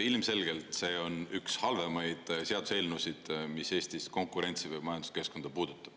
Ilmselgelt see on üks halvemaid seaduseelnõusid, mis Eestis konkurentsi või majanduskeskkonda puudutab.